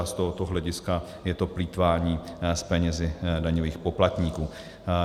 A z tohoto hlediska je to plýtvání s penězi daňových poplatníků.